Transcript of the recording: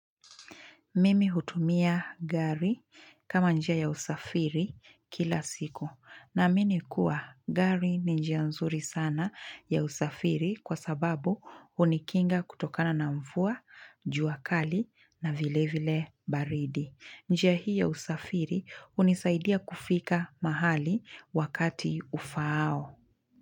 Mimi hutumia gari kama njia ya usafiri kila siku. Naamini kuwa gari ni njia nzuri sana ya usafiri kwasababu hunikinga kutokana na mvua, juakali na vile vile baridi. Njia hii ya usafiri hunisaidia kufika mahali wakati ufaao.